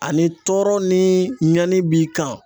Ani tɔɔrɔ ni ɲani b'i kan